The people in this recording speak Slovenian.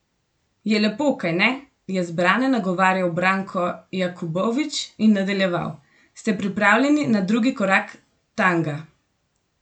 Je lepo, kajne," je zbrane nagovarjal Brano Jakubović in nadaljeval: "Ste pripravljeni na drugi korak tanga?